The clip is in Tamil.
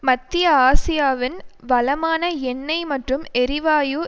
மத்திய ஆசியாவின் வளமான எண்ணெய் மற்றும் எரிவாயு